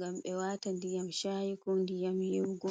gam ɓe wata ndiyam shayi ko ndiyam yiwugo.